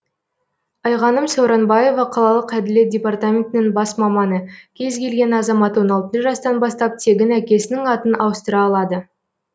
айғаным сауранбаева қалалық әділет департаментінің бас маманы кез келген азамат он алты жастан бастап тегін әкесінің атын ауыстыра алады